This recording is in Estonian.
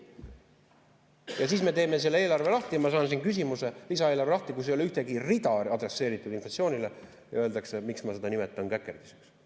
Ja siis me teeme selle lisaeelarve lahti, kus ei ole ühtegi rida adresseeritud inflatsioonile, ja ma saan siin küsimuse, et miks ma seda nimetan käkerdiseks.